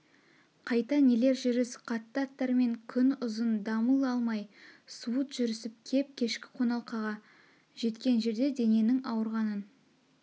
қайта нелер жүріс қатты аттармен күн ұзын дамыл алмай суыт жүрісіп кеп кешкі қоналқаға жеткен жерде дененің ауырғанын